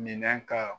Minɛn ka